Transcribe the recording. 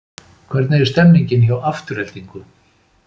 Hvernig er stemmingin hjá Aftureldingu?